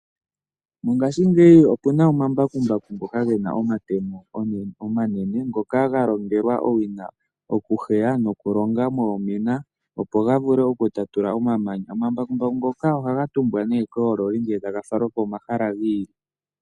Mongashingeyi opuna omambakumbaku ngoka gena omatemo omanene ngoka ga longelwa owina okuheya nokulonga moomina opo ga vule okutatula omamanya. Omambakumbaku ngoka ohaga tumbwa nee koololi ngele taga falwa komahala gi ili.